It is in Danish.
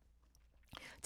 TV 2